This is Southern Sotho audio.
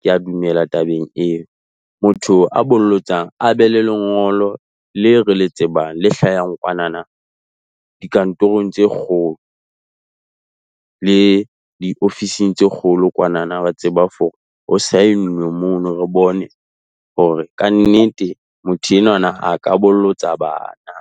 Ke a dumela tabeng eo, motho a bolotsang a be le lengolo leo re le tsebang le hlahang kwanana dikantorong tse kgolo le diofising tse kgolo kwanana. Wa tseba hore ho saennwe mono, re bone hore kannete motho enwanana a ka bolotsa bana.